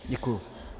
Děkuji.